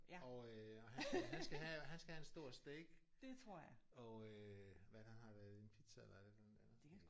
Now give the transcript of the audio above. Og øh og han skal han skal have og han skal have en stor steak og øh hvad er det han har der er det en pizza eller er det et eller andet andet